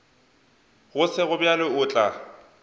go sego bjalo o tla